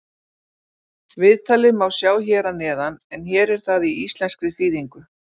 Viðtalið má sjá hér að neðan en hér er það í íslenskri þýðingu.